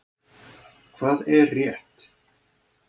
Hvað er rétt?